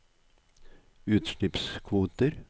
utslippskvoter